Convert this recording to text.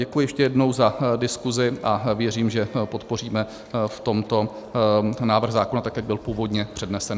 Děkuji ještě jednou za diskuzi a věřím, že podpoříme v tomto návrh zákona tak, jak byl původně přednesen.